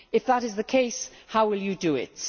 If that is the case, how will you do it?